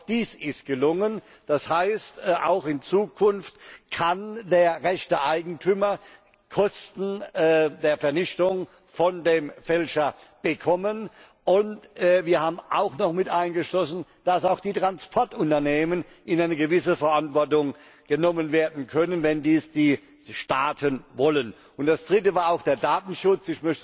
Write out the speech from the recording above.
Auch dies ist gelungen. Das heißt, auch in Zukunft kann der rechtmäßige Eigentümer die Kosten der Vernichtung von dem Fälscher verlangen. Wir haben ferner mitaufgenommen, dass auch die Transportunternehmen in eine gewisse Verantwortung genommen werden können, wenn dies die Staaten wollen. Das Dritte war der Datenschutz.